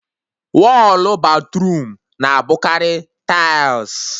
Wọlụ batruum na-abụkarị taịls